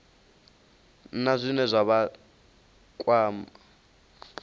na zwine zwa vha kwama